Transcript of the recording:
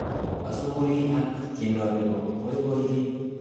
asongorii ak tiendo Nepo poipoiyet